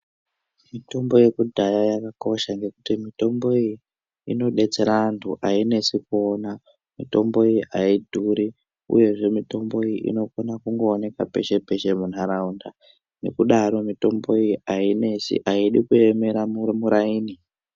Mitombo yekudhaya yakakosha ngekuti mitombo iyi inodetsera antu ainesi kuona mitombo iyi aidhuri uyezve mitombo iyi inokona kungoonekwa peshe peshe muntaraunda nekudaro mitombo iyi ainesi aidi kuemera muraini.